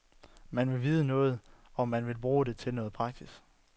Man vil vide noget, og man vil bruge det til noget praktisk.